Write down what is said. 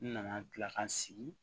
N nana kila ka sigi